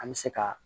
An bɛ se ka